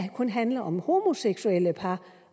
kun handler om homoseksuelle par